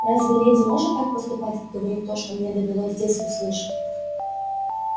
разве леди может так поступать и говорить то что мне довелось здесь услышать